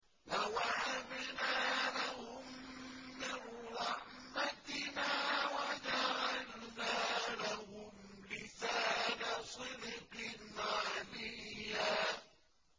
وَوَهَبْنَا لَهُم مِّن رَّحْمَتِنَا وَجَعَلْنَا لَهُمْ لِسَانَ صِدْقٍ عَلِيًّا